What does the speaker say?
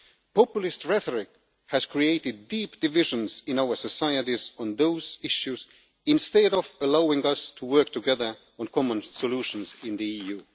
so on. Populist rhetoric has created deep divisions in our societies on those issues instead of allowing us to work together on common solutions in